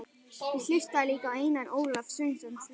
Ég hlustaði líka á Einar Ólaf Sveinsson lesa